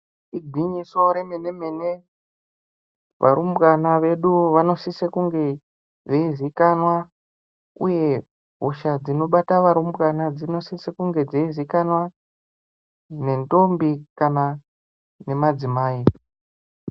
Igwinyiso remene-mene varumbwana vedu vanosise kunge veiziikanwa, uye hosha dzinobata varumbwana dzinosise kunge dzeiziikanwa, nendombi kana nemadzimai.